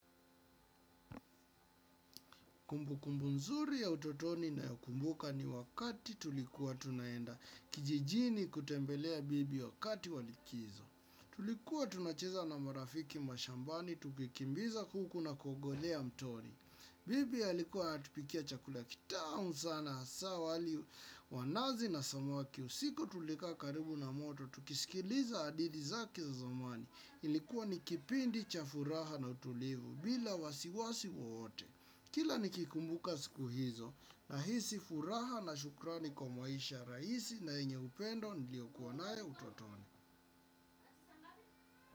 Kumbukumbu nzuri ya utotoni nayokumbuka ni wakati tulikuwa tunaenda kijijini kutembelea bibi wakati wa likizo. Tulikuwa tunacheza na marafiki mashambani tukikimbiza kuku na kogolea mtoni. Bibi alikuwa anatupikia chakula kitamu sana hasa wali wa nazi na samaki usiku tulika karibu na moto. Tukisikiliza adithi zake za zamani ilikuwa nikipindi cha furaha na utulivu bila wasiwasi wowote. Kila nikikumbuka siku hizo nahisi furaha na shukrani kwa maisha raisi na yenye upendo niliokuwa nayo utotoni.